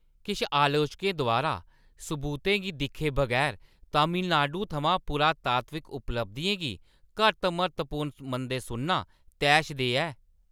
किश आलोचकें द्वारा सबूतें गी दिक्खे बगैर तमिलनाडु थमां पुरातात्विक उपलब्धियें गी घट्ट म्हत्तवपूर्ण मनदे सुनना तैशदेह् ऐ ।